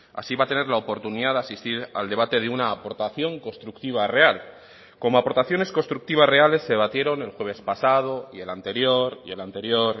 así va a tener la oportunidad de asistir al debate de una aportación constructiva real como aportaciones constructivas reales se debatieron el jueves pasado y el anterior y el anterior